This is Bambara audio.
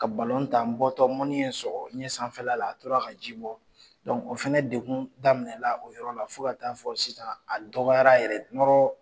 Ka tan, a tun n bɔtɔ mɔni ye n sɔgɔ. N ɲɛ sanfɛla la, a tora ka ji bɔ, o fana dekun daminɛna o yɔrɔ la fo ka taa fɔ sisan a dɔgɔyara yɛrɛ